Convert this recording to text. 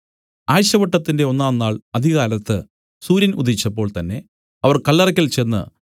ആഴ്ചവട്ടത്തിന്റെ ഒന്നാം നാൾ അതികാലത്ത് സൂര്യൻ ഉദിച്ചപ്പോൾ തന്നേ അവർ കല്ലറയ്ക്കൽ ചെന്ന്